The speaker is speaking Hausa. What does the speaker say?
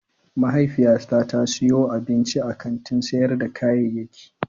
Mahaifiyata ta siyo abinci a kantin sayar da kayayyaki.